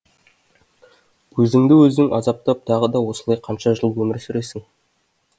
өзіңді өзің азаптап тағы да осылай қанша жыл өмір сүресің